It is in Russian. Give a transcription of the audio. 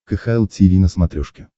кхл тиви на смотрешке